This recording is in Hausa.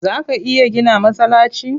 Zaa ka iya gina masallaci?